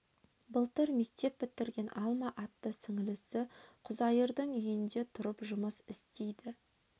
былтыр мектеп бітірген алма атты сіңілісі құзайырдың үйінде тұрып жұмыс істейді